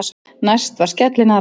Næst var skellinaðra á dagskrá.